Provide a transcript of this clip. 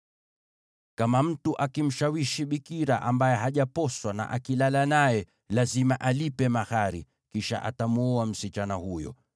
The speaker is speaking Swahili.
“Kama mtu akimshawishi bikira ambaye hajaposwa na akilala naye, lazima alipe mahari, kisha atamwoa msichana huyo.